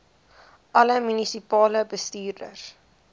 alle munisipale bestuurders